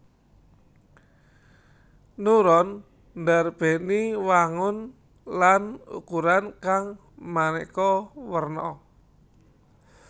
Neuron ndarbèni wangun lan ukuran kang manéka werna